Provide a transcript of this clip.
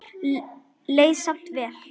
Leið samt vel.